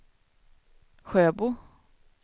Sjöbo